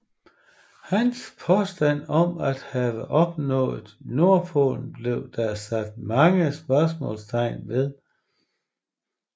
Hans påstand om at have nået Nordpolen blev der sat mange spørgsmålstegn ved